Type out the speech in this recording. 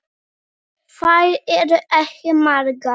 Þær eru ekki margar.